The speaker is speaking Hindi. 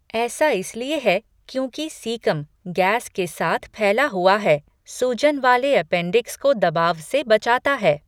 ऐसा इसलिए है क्योंकि सीकम, गैस के साथ फैला हुआ है, सूजन वाले अपेंडिक्स को दबाव से बचाता है।